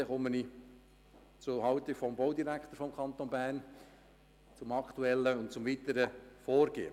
Nun komme ich zur Haltung des Baudirektors des Kantons Bern sowie zum aktuellen und weiteren Vorgehen.